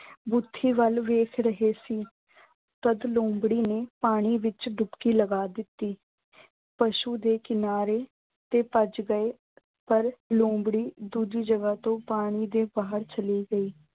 ਬੂਥੀ ਵੱਲ ਵੇਖ ਰਹੇ ਸੀ। ਤਦ ਲੂੰਬੜੀ ਨੇ ਪਾਣੀ ਵਿੱਚ ਡੁਬਕੀ ਲਗਾ ਦਿੱਤੀ। ਪਸ਼ੂ ਦੇ ਕਿਨਾਰੇ ਤੇ ਭੱਜ ਗਏ ਪਰ ਲੂੰਬੜੀ ਦੂਜੀ ਜਗ੍ਹਾ ਤੋਂ ਪਾਣੀ ਦੇ ਬਾਹਰ ਚਲੀ ਗਈ।